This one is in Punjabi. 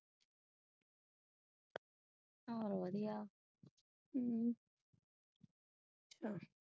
ਹੋਰ ਵਧੀਆ।